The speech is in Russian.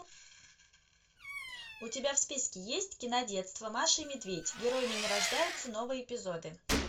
у тебя в списке есть кинодетство маша и медведь героями не рождаются новые эпизоды